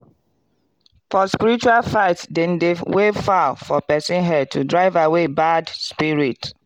for spiritual fight dem dey wave fowl for person head to drive away bad spirit.